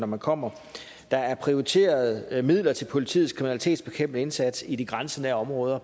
man kommer der er prioriteret midler til politiets kriminalitetsbekæmpende indsats i grænsenære områder